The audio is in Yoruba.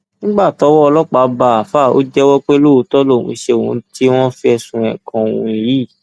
nígbà tọwọ ọlọpàá bá àáfàá ò jẹwọ pé lóòótọ lòún ṣe ohun tí wọn fẹsùn ẹ kan òun yìí